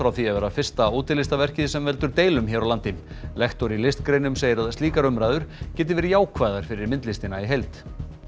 því að vera fyrsta sem veldur deilum hér á landi lektor í listgreinum segir að slíkar umræður geti verið jákvæðar fyrir myndlistina í heild